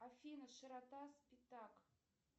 афина широта спитак